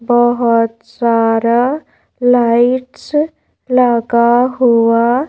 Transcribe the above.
बहुत सारा लाइट्स लगा हुआ--